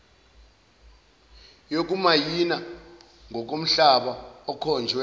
yokumayina ngokomhlaba okhonjwe